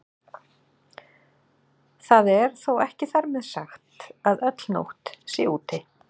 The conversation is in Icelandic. Það er þó ekki þar með sagt að öll nótt sé úti.